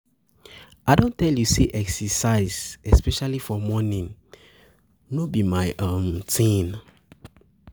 um I don tell you say exercise especially for morning no be my um thing